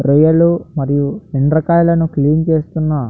రొయ్యలు మరియు రెండు రకాలు క్లీన్ చేస్తున్న --